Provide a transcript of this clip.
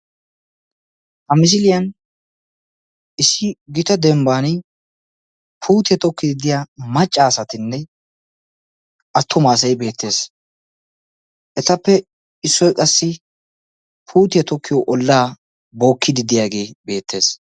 Ha misiliyan issi gita dembban puuttiya tokiidi diya macca asatinne attuma asay beetees. etappe issoy qassi puttiya tokiyo olaa bookiidi diyaagee beetees.